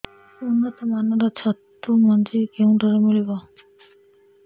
ଉନ୍ନତ ମାନର ଛତୁ ମଞ୍ଜି କେଉଁ ଠାରୁ ମିଳିବ